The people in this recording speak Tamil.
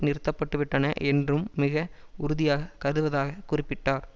நிறுத்த பட்டு விட்டன என்றும் மிக உறுதியாக கதுவதாக குறிப்பிட்டார்